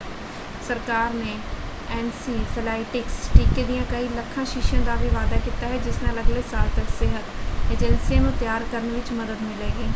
ਸਰਕਾਰ ਨੇ ਐਨਸੀਫੇਲਾਈਟਿਸ ਟੀਕੇ ਦੀਆਂ ਕਈ ਲੱਖਾਂ ਸ਼ੀਸ਼ੀਆਂ ਦਾ ਵੀ ਵਾਅਦਾ ਕੀਤਾ ਹੈ ਜਿਸ ਨਾਲ ਅਗਲੇ ਸਾਲ ਤੱਕ ਸਿਹਤ ਏਜੰਸੀਆਂ ਨੂੰ ਤਿਆਰ ਕਰਨ ਵਿੱਚ ਮਦਦ ਮਿਲੇਗੀ।